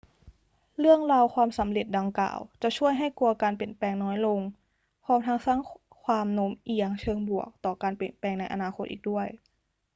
เรื่องราวความสำเร็จดังกล่าวจะช่วยให้กลัวการเปลี่ยนแปลงน้อยลง พร้อมทั้งสร้างความโน้มเอียงเชิงบวกต่อการเปลี่ยนแปลงในอนาคตอีกด้วย